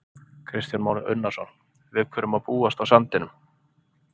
Kristján Már Unnarsson: Við hverju má búast á sandinum?